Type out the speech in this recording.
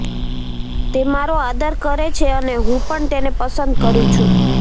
તે મારો આદર કરે છે અને હું પણ તેને પસંદ કરું છું